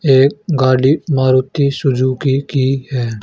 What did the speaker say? एक गाड़ी मारुति सुजुकी की हैं।